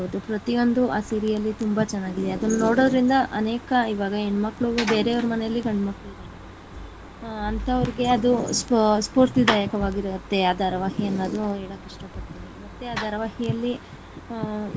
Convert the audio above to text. ಪ್ರತಿಯೊಂದು ಆ serial ತುಂಬಾ ಚೆನ್ನಾಗಿದೆ ಅದುನ್ನ ನೋಡೋದರಿಂದ ಅನೇಕ ಇವಾಗ ಹೆಣ್ಣಮಕ್ಕಳು ಬೇರೆಯವರ ಮನೆಯಲ್ಲಿ ಗಂಡುಮಕ್ಕಳು ಇದ್ದಾರೆ ಅಂಥವ್ರ್ಗೆ ಅದು ಸ್ಪೂ~ ಸ್ಪೂರ್ತಿ ಧಾಯಕವಿರುತ್ತೆ ಆ ಧಾರಾವಾಹಿ ಅನ್ನೋದನು ಹೇಳೋಕೆ ಇಷ್ಟಪಡ್ತೀನಿ ಮತ್ತೆ ಆ ಧಾರವಾಹಿಯಲ್ಲಿ.